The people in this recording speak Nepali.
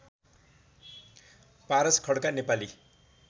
पारस खड्का नेपाली